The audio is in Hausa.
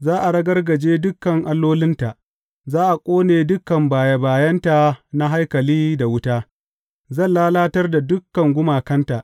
Za a ragargaje dukan allolinta; za a ƙone dukan baye bayenta na haikali da wuta; zan lalatar da dukan gumakanta.